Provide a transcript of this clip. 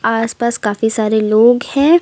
आस पास काफी सारे लोग हैं।